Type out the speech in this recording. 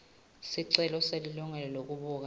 sicelo selilungelo lekubuka